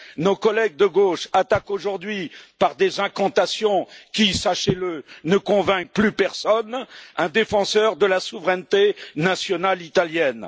Nos collègues de gauche attaquent aujourd'hui par des incantations qui, sachez le, ne convainquent plus personne, un défenseur de la souveraineté nationale italienne.